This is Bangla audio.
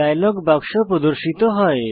ডায়লগ বাক্স প্রদর্শিত হয়